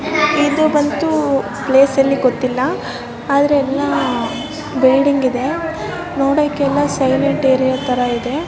ಇದು ಬಂತು ಪ್ಲೇಸ್ ಎಲ್ಲಿ ಗೊತ್ತಿಲ್ಲ ಆದರೆ ಎಲ್ಲ ಬಿಲ್ಡಿಂಗ್ ಇದೆ ನೋಡೋಕೆ ಎಲ್ಲ ಸೈಲೆಂಟ್ ಏರಿಯಾ ತರ ಇದೆ .